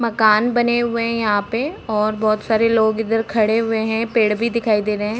मकान बने हुए हैं यहाँ पे और बहुत सारे लोग इधर खड़े हुए हैं। पेड़ भी दिखाई दे रहे हैं।